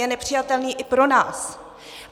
Je nepřijatelný i pro nás.